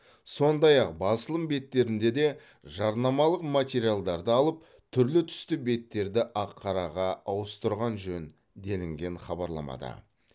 сондай ақ басылым беттерінде де жарнамалық материалдарды алып түрлі түсті беттерді ақ қараға ауыстырған жөн делінген хабарламада